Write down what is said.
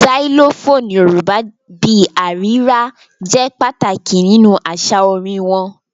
Xylophone Yorùbá bí i “àrírà” jẹ́ pàtàkì nínú àṣà orin wọn.